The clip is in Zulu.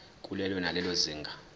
kulelo nalelo zinga